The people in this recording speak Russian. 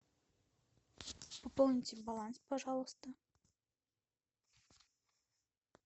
пополните баланс пожалуйста